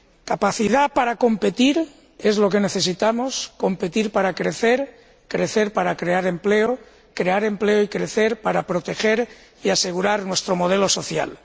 Capacidad para competir es lo que necesitamos competir para crecer, crecer para crear empleo, crear empleo y crecer para proteger y asegurar nuestro modelo social.